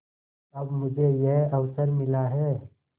अब मुझे यह अवसर मिला है